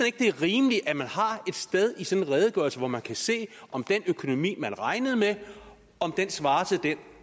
ikke det er rimeligt at man har et sted i sådan en redegørelse hvor man kan se om den økonomi man regnede med svarer til